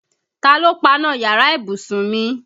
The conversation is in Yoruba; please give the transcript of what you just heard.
Ta ló paná yàrá ìbùsùn mi?